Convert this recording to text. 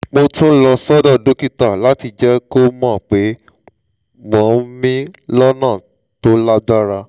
mo tún lọ sọ́dọ̀ dókítà láti jẹ́ kó mọ̀ pé mò ń mií lọ́nà tó lágbára